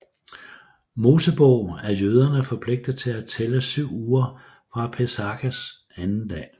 Mosebog er jøderne forpligtet til at tælle syv uger fra Pesachs anden dag